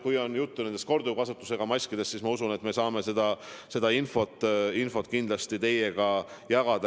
Kui on juttu nendest korduvkasutusega maskidest, siis ma usun, et ma saan seda infot kindlasti teiega peagi jagada.